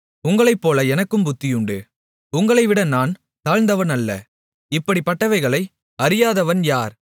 உங்களைப்போல எனக்கும் புத்தியுண்டு உங்களைவிட நான் தாழ்ந்தவன் அல்ல இப்படிப்பட்டவைகளை அறியாதவன் யார்